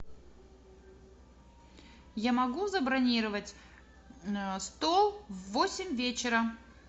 я могу забронировать стол в восемь вечера